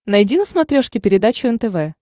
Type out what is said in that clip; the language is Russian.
найди на смотрешке передачу нтв